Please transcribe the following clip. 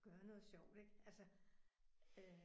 Gøre noget sjovt ik altså øh